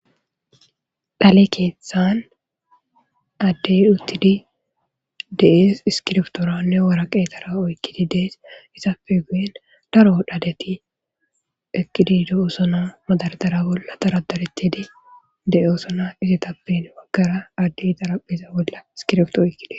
Dale keeththan addey uttidi de'ees iskirftooranne waraqeetara oykkidi dees isappe geen daro dhadeti ekkidi de'oosona madardara bolla taradaretidi de'oosona isitappen maggara adde idaraphiza bolla iskirftooykkidee.